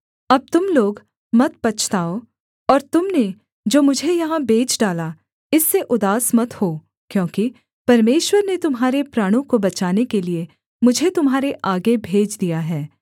अब तुम लोग मत पछताओ और तुम ने जो मुझे यहाँ बेच डाला इससे उदास मत हो क्योंकि परमेश्वर ने तुम्हारे प्राणों को बचाने के लिये मुझे तुम्हारे आगे भेज दिया है